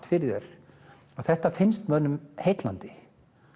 fyrir þér þetta finnst mönnum heillandi